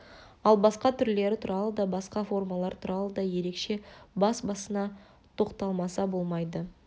ал басқа түрлері туралы да басқа формалар туралы да ерекше бас-басына тоқталмаса болмайды